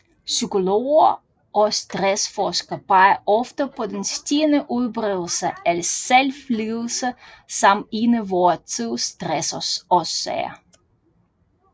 Psykologer og stressforskere peger ofte på den stigende udbredelse af selvledelse som en af vor tids stressårsager